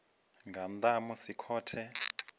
nga nnḓa ha musi khothe